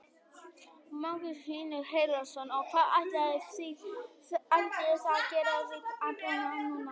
Magnús Hlynur Hreiðarsson: Og hvað ætlið þið að gera við apann núna?